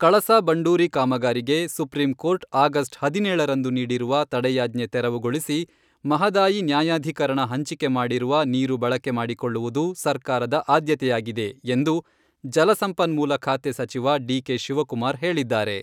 ಕಳಸಾ ಬಂಡೂರಿ ಕಾಮಗಾರಿಗೆ supreme court August ಹದಿನೇಳರಂದು ನೀಡಿರುವ ತಡೆಯಾಜ್ಞೆ ತೆರವುಗೊಳಿಸಿ ಮಹದಾಯಿ ನ್ಯಾಯಾಧೀಕರಣ ಹಂಚಿಕೆ ಮಾಡಿರುವ ನೀರು ಬಳಕೆ ಮಾಡಿಕೊಳ್ಳುವುದು ಸರ್ಕಾರದ ಆದ್ಯತೆಯಾಗಿದೆ ಎಂದು ಜಲಸಂಪನ್ಮೂಲ ಖಾತೆ ಸಚಿವ ಡಿಕೆ ಶಿವಕುಮಾರ್ ಹೇಳಿದ್ದಾರೆ.